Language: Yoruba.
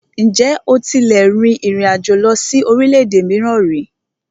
Ǹjẹ́ o tílẹ̀ tí rìn ìrin àjò lọ sí orílẹ̀-èdè mìíràn ríi?